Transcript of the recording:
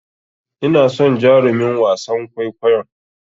Ina son jarumin wasan kwaikwayon.